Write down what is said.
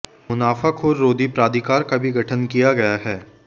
मुनाफाखोर रोधी प्राधिकार का भी गठन किया गया है